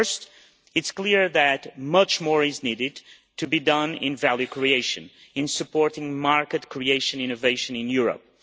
Firstly, it is clear that much more needs to be done in value creation, in supporting market creation innovation in Europe.